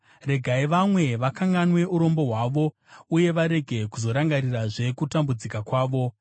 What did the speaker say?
regai vanwe vakanganwe urombo hwavo, uye varege kuzorangarirazve kutambudzika kwavo.